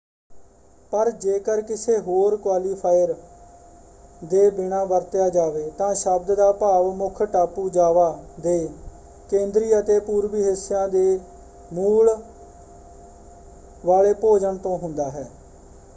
ਪਰ ਜੇਕਰ ਕਿਸੇ ਹੋਰ ਕੁਆਲੀਫਾਇਰ ਦੇ ਬਿਨ੍ਹਾ ਵਰਤਿਆ ਜਾਵੇ ਤਾਂ ਸ਼ਬਦ ਦਾ ਭਾਵ ਮੁੱਖ ਟਾਪੂ ਜਾਵਾ ਦੇ ਕੇਂਦਰੀ ਅਤੇ ਪੂਰਬੀ ਹਿੱਸਿਆਂ ਦੇ ਮੂਲ ਵਾਲੇ ਭੋਜਨ ਤੋਂ ਹੁੰਦਾ ਹੈ।